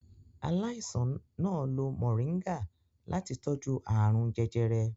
Aláìsàn náà lo moringa láti tọ́jú ààrùn jẹjẹrẹ.